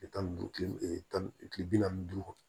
Tile tan ni duuru tile tan ni kile bi naani ni duuru kɔ